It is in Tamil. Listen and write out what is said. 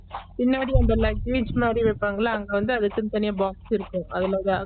பின்னாடி அந்த luggage மாறி வைப்பாங்கள அங்க வந்து அதுக்குனு தனிய box இருக்கு அதுல தான்